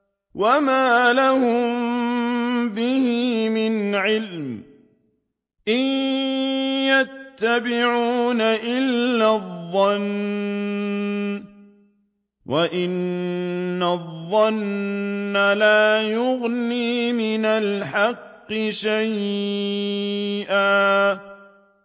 وَمَا لَهُم بِهِ مِنْ عِلْمٍ ۖ إِن يَتَّبِعُونَ إِلَّا الظَّنَّ ۖ وَإِنَّ الظَّنَّ لَا يُغْنِي مِنَ الْحَقِّ شَيْئًا